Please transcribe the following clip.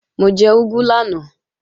Mo jẹ úgú lánàá